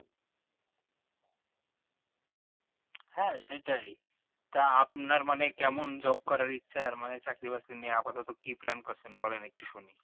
হ্যাঁ সেটাই তা আপনার মানে কেমন job করার ইচ্ছে আর মানে আর চাকরি বাকরি নিয়ে আপাতত কি plan করছেন বলেন একটু শুনি